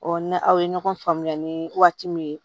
ni aw ye ɲɔgɔn faamuya ni waati min ye